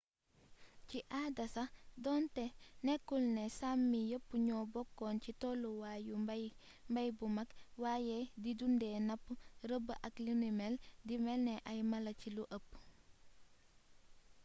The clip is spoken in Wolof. ci aada sax donté nekkulné sámi yepp ñoo bokkon ci tollu waay yu mbay bu mak wayé di dundé napp reebb ak linumél di mélni ay mala ci lu ëpp